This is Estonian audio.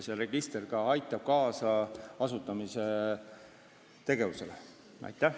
See register aitab asutamistegevusele kaasa.